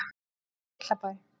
Litlabæ